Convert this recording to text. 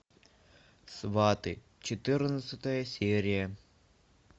сваты четырнадцатая серия